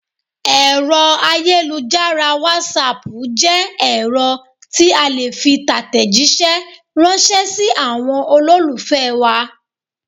Èrọ ayélujára wàsaapu jẹ́ ẹ̀rọ tí a le fi tatẹ̀jisẹ́ ransẹ́ si àwọn olólùfẹ́ wa